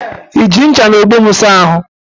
Iji ncha na ogbo m asa ahu?